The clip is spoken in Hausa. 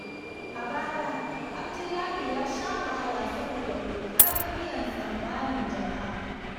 A baya, Abdullahi ya sha wahala saboda ƙoƙarin biyan tsammanin jama’a.